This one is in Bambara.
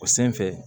O sen fɛ